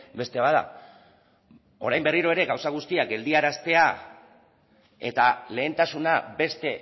beste bat da orain berriro ere gauza guztiak geldiaraztea eta lehentasuna beste